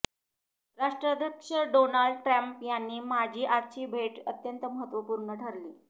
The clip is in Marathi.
राष्ट्राध्यक्ष डोनाल्ड ट्रम्प आणि माझी आजची भेट अत्यंत महत्त्वपूर्ण ठरली